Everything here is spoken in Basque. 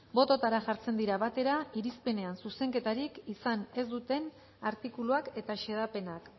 bototara jartzen dira batera irizpenean zuzenketarik izan ez duten artikuluak eta xedapenak